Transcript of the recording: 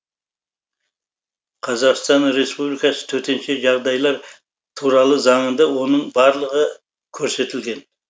қазақстан республикасы төтенше жағдайлар туралы заңында оның барлығы көрсетілген